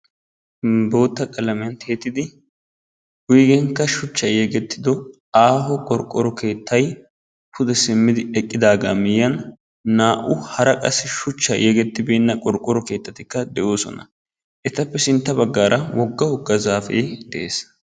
Bootta qalamiyan tiyettidi wuygeenkka shuchchay yegettido aaho qorqqoro keettay pude simmidi eqqidaagaa miyyiyan naa"u hara qassi shuchchay yegettibeenna qorqqoro keettatikka de'oosona. Etappe sintta baggaara wogga wogga zaafee de'ees.